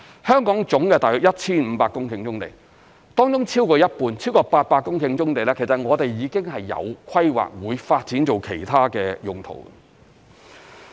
香港約有 1,500 公頃棕地，當中超過一半，超過800公頃棕地其實我們已經有規劃，會發展作其他的用途。